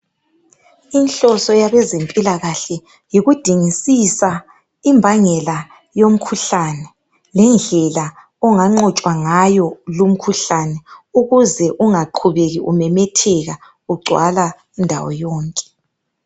Inhloso yabezempilakahle yikudingisisa imbangela yomkhuhlane lendlela onganqotshwa ngayo lumkhuhlane ukuze ungaqubeki umemetheka ugcwala ndawo yonke.